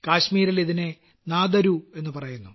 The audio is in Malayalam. കാശ്മീരിൽ ഇതിനെ നാദരു എന്നു പറയുന്നു